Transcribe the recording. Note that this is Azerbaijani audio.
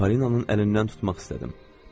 Polinanın əlindən tutmaq istədim.